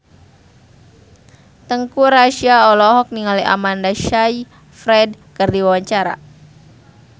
Teuku Rassya olohok ningali Amanda Sayfried keur diwawancara